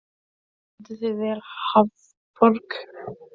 Þú stendur þig vel, Hrafnborg!